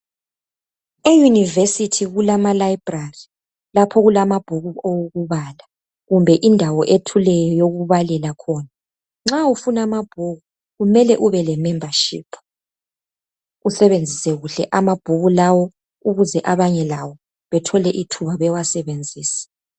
EUniversity kulama library lapha okulamabhuku owokubala kumbe indawo ethuleyo yokubalela khona. Nxa ufuna anabhuku kumele ube lemembership usebenzise kuhle amabhuku lawo ukuze abanye labo bethole ithubabe wasebenzise.